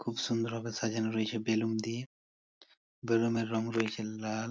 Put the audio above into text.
খুব সুন্দর ভাবে সাজানো রয়েছে বেলুন দিয়ে বেলুন এর রং রয়েছে লাল।